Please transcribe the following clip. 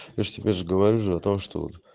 я ж тебе же говорю же о том что вот